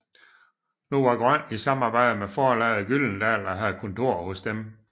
Nu var Grøn i samarbejde med forlaget Gyldendal og havde kontor hos dem